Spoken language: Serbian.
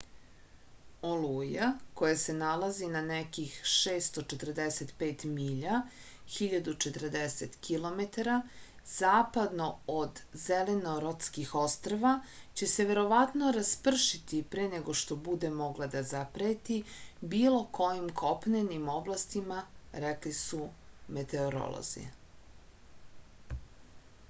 олуја која се налази на неких 645 миља 1040 km западно од зеленортских острва ће се вероватно распршити пре него што буде могла да запрети било којим копненим областима рекли су метеоролози